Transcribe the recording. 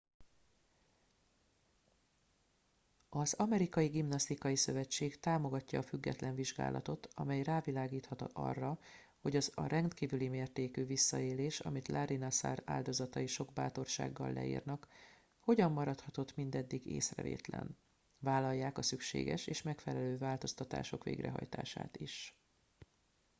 az amerikai gimnasztikai szövetség támogatja a független vizsgálatot amely rávilágíthat arra hogy az a rendkívüli mértékű visszaélés amit larry nassar áldozatai sok bátorsággal leírnak hogyan maradhatott mindeddig észrevétlen vállalják a szükséges és megfelelő változtatások végrehajtását is